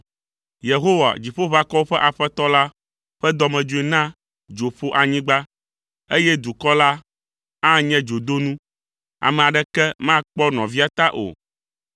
Yehowa, Dziƒoʋakɔwo ƒe Aƒetɔ la ƒe dɔmedzoe na dzo ƒo anyigba, eye dukɔ la anye dzodonu, ame aɖeke makpɔ nɔvia ta o.